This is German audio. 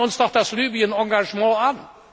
Schauen wir uns doch das Libyen Engagement an!